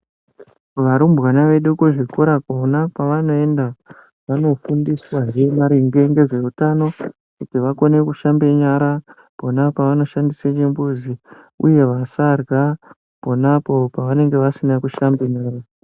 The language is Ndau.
Varumbwana vedu kuzvikora kwona kwavanoenda, vanofundiswahee maringe ngezveutano, kuti vakone kushambe nyara, pona pavanosgandise chimbuzi, uye vasarya pona apo pevanenge vasina kushambe nyara.